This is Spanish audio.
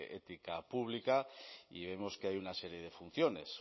ética pública y vemos que hay una serie de funciones